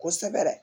Kosɛbɛ